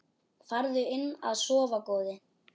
Farðu inn að sofa góði.